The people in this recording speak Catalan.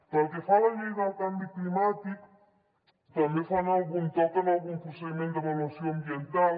pel que fa a la llei del canvi climàtic també fan algun toc en algun procediment d’avaluació ambiental